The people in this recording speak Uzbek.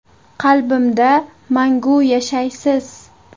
Qalbimda mangu yashaysiz.